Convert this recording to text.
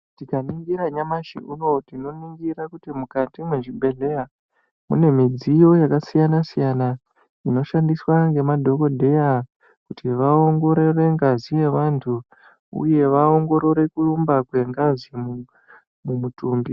Tikaningira nyamashi unou tinoningira kuti mukati mwezvibhedhleya mune midziyo yakasiyana siyana inoshandiswa nemadhokodheya kuti vaongorore ngazi yevantu uye vaongorore kuumba kwengazi mumutumbi